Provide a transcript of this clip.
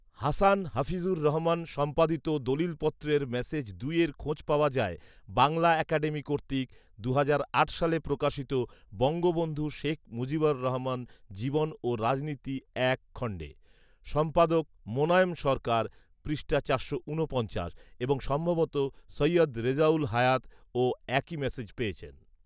হাসান হাফিজুর রহমান সম্পাদিত দলিলপত্রের মেসেজ দুইয়ের খোঁজ পাওয়া যায় বাংলা একাডেমী কর্তৃক দুহাজার আট সালে প্রকাশিত বঙ্গবন্ধু শেখ মুজিবুর রহমান জীবন ও রাজনীতি এক খন্ডে। সম্পাদক মোনায়েম সরকার পৃষ্ঠা চারশো ঊনপঞ্চাশ এবং সম্ভবত সৈয়দ রেজাউল হায়াত ও একই মেসেজ পেয়েছেন